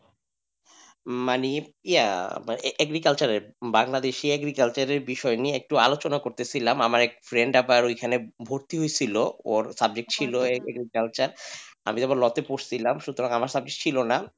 মানে ইয়া agriculture এর বাংলাদেশি agriculture এর বিষয় নিয়ে একটু আলোচনা করতেছিলাম আমার একটা ফ্রেন্ড আবার ভর্তি হয়েছিল ওর subject ছিল agriculture আমি তো law তে পড়ছিলাম সুতরাং আমার সাবজেক্টটা ছিল না,